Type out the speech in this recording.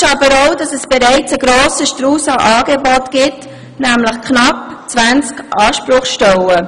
Fakt ist aber auch, dass bereits ein grosser Strauss an Angeboten besteht, nämlich knapp 20 Ansprechstellen.